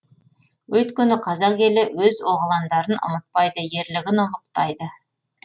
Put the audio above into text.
өйткені қазақ елі өз оғландарын ұмытпайды ерлігін ұлықтайды